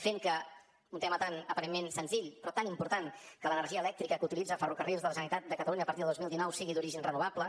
fent que un tema tan aparentment senzill però tan important l’energia elèctrica que utilitza ferrocarrils de la generalitat de catalunya a partir de dos mil dinou sigui d’origen renovable